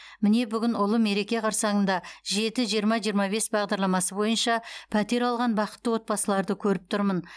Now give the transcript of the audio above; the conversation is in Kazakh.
міне бүгін ұлы мереке қарсаңында жеті жиырма жиырма бес бағдарламасы бойынша пәтер алған бақытты отбасыларды көріп тұрмын